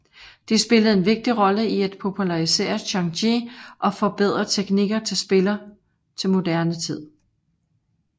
De spillede en vigtig rolle i at popularisere xiangqi og forbedre teknikker til spiller til moderne tid